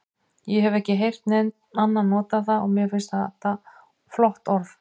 Ég hef ekki heyrt neinn annan nota það og mér finnst þetta flott orð.